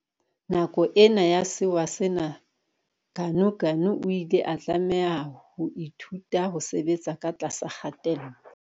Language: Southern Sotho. Nako ena ya sewa sena Ganuganu o ile a tlameha ho ithuta ho sebetsa ka tlasa kgatello.